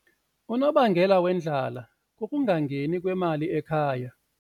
Unobangela wendlala kukungangeni kwemali ekhaya.